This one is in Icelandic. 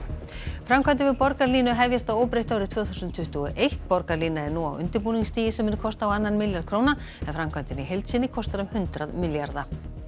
framkvæmdir við borgarlínu hefjast að óbreyttu árið tvö þúsund tuttugu og eitt borgarlínan er nú á undirbúningsstigi sem mun kosta á annan milljarð króna en framkvæmdin í heild sinni kostar um hundrað milljarða